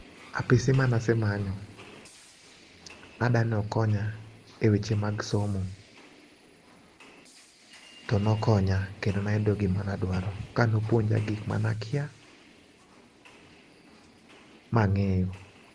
Apisi manasemanyo nadwano konya e weche mag somo to nokonya kendo nayudo gima na dwaro kano puonja gik mana kia mang'eyo.